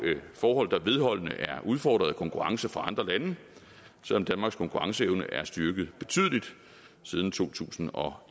forhold der vedholdende er udfordret af konkurrence fra andre lande selv om danmarks konkurrenceevne er styrket betydeligt siden to tusind og